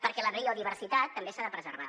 perquè la biodiversitat també s’ha de preservar